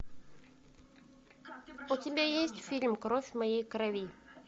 у тебя есть фильм кровь моей крови